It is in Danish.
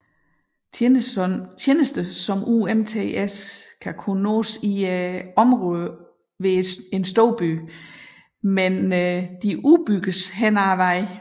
Tjenester som UMTS kan kun nås i storbyområder men udbygges løbende